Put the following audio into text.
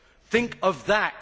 Think of that.